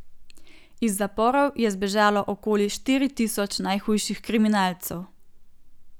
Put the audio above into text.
Iz zaporov je zbežalo okoli štiri tisoč najhujših kriminalcev.